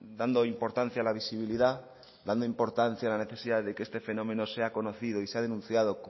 dando importancia a la visibilidad dando importancia a la necesidad de que este fenómeno sea conocido y sea denunciado